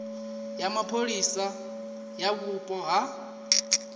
ya mapholisa ya vhupo ha